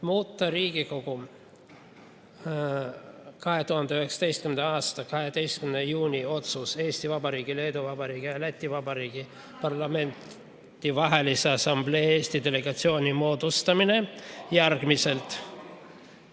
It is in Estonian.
Muuta Riigikogu 2019. aasta 12. juuni otsus "Eesti Vabariigi, Leedu Vabariigi ja Läti Vabariigi Parlamentidevahelise Assamblee Eesti delegatsiooni moodustamine" järgmiselt.